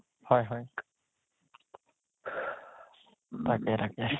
হয় হয় তাকে তাকে